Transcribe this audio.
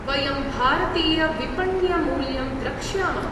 वयं भारतीयविपण्यमूल्यं द्रक्ष्यामः।